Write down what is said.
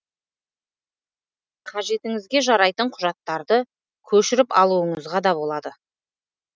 қажетіңізге жарайтын құжаттарды көшіріп алуыңызға да болады